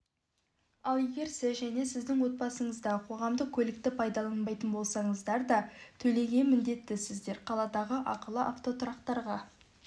ал егер сіз және сіздің отбасыңызда қоғамдық көлікті пайдаланбайтын болсаңыздар да төлеуге міндеттісіздер қаладағы ақылы автотұрақтарға